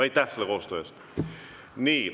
Aitäh koostöö eest!